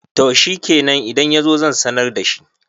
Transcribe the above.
to shikenan idan ya zo zan sanar da shi